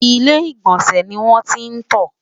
ilé igbọnsẹ ní wọn tí n tó